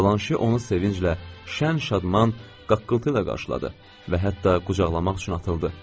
Blanşe onu sevinclə, şən-şadman qaqqıltıyla qarşıladı və hətta qucaqlamaq üçün atıldı.